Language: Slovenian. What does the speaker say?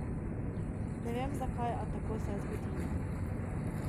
Ne vem, zakaj, a tako se je zgodilo.